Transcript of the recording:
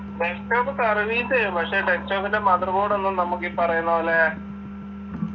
desktop service എയ്യും പക്ഷെ desktop ൻ്റെ mother board ഒന്നും നമ്മക്കീ പറയുന്ന പോലെ